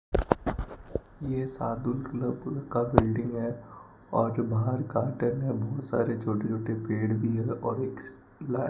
ये साधु लोगो का बिल्डिंग है और बाहर गार्डन हैं बहुत सारे छोटे छोटे पेड़ भी है और एक --